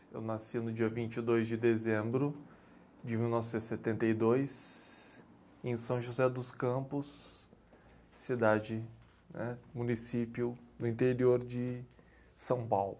Eu nasci no dia vinte e dois de dezembro de mil novecentos e setenta e dois, em São José dos Campos, cidade, né? Município do interior de São Paulo.